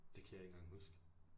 Det kan jeg ikke engang huske